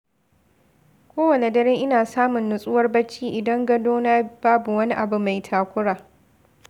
Kowane dare, ina samun nutsuwar bacci idan gadona babu wani abu mai takura.